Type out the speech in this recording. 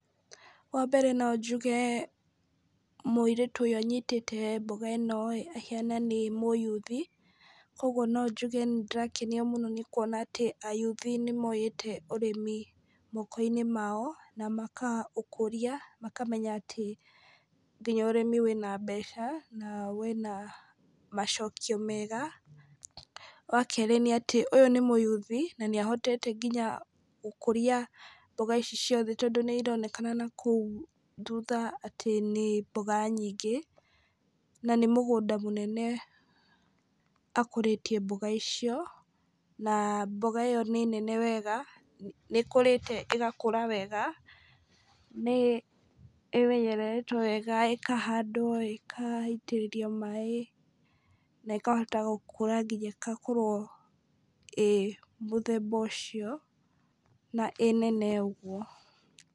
Wa mbere no njuge mũirĩtu ũyũ anyitĩte mboga ĩno ahĩana nĩ mũyuthi, koguo no njuge nĩ ndĩrakena mũno nĩ kuona atĩ ayuthi nĩ moete ũrĩmi moko-inĩ mao na makaũkũria makamenya atĩ nginya ũrĩmi wĩna mbeca na wĩna macokio mega. Wa kerĩ nĩ atĩ ũyũ nĩ mũyuthi na nĩ ahotete nginya gũkũria mboga ici ciothe tondũ nĩ ĩronekana na kũu thutha atĩ nĩ mboga nyingĩ na nĩ mũgũnda mũnene akũrĩtie mboga icio, na mboga ĩyo nĩ nene wega nĩ ĩkũrĩte ĩgakũra wega nĩ ĩmenyereĩrwo wega, ĩkahandwo ĩgaĩtĩrĩrio maĩ na ĩkahota gũkũra nginya ĩgakorwo ĩĩ mũthemba ũcio na ĩnene ũguo.